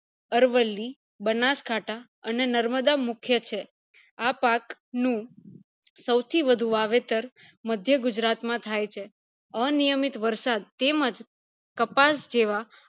અરવલ્લી, બનાસકાઠા, અને નર્મદા મુખ્ય છે આ પાક નું સૌથી વધુ વાવેતર મધ્ય ગુજરાત માં થાય છે આ નિયમિત વરસાદ તેમજ કપાસ જેવા